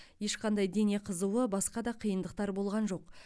ешқандай дене қызуы басқа да қиындықтар болған жоқ